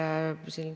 Aitäh küsimuse eest!